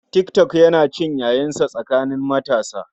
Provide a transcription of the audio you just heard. Tik tok yana cin yayinsa tsakanin matasa.